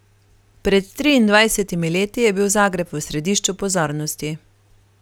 Pred triindvajsetimi leti je bil Zagreb v središču pozornosti.